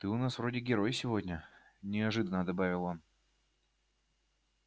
ты у нас вроде герой сегодня неожиданно добавил он